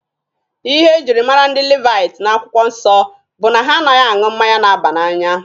Ihe e jiri mara ndị Levaiti n'akwụkwọ nsọ bụ na ha anaghị aṅụ mmanya na-aba n'anya.